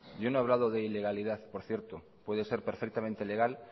yo no he hablado de ilegalidad por cierto puede ser perfectamente legal